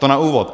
To na úvod.